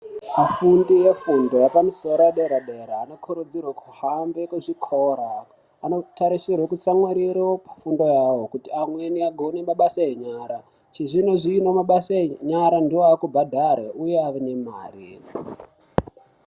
Afundi efundo yepamusoro yedera-dera anokurudzirwe kuhambe kuchikora. Anotarisirwe kutsamwiriro kufundo yavo kuti amweni agone mabasa enyara. Chizvino-zvono mabasa enyara ndiwo aakutobhadhare uye aine mare.